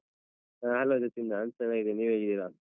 ಹ hello ಸಚಿನ್ ನಾನ್ ಚೆನ್ನಾಗಿದ್ದೇನೆ. ನೀವ್ ಹೇಗಿದ್ದೀರಾ?